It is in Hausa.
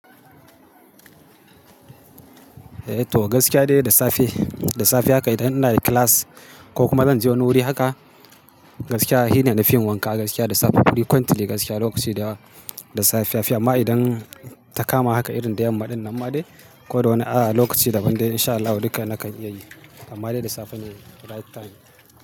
Eh to gaskiya dai da safe, da safe haka idan ina da class ko kuma zan je wani wuri haka, gaskiya shine na fi yin wanka gaskiya da safe. Frequently gaskiya lokaci da yawa da safen. Fiya ma idan ta kama haka irin da yamma, ɗin nan ma de. Ko da wani a lokaci daban dai in sha Allahu duka nakan iya yi. Amma dai da safe ne right time.